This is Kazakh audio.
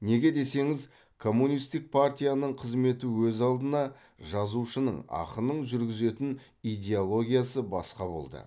неге десеңіз коммунистік партияның қызметі өз алдына жазушының ақынның жүргізетін идеологиясы басқа болды